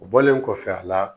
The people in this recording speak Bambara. O bɔlen kɔfɛ a la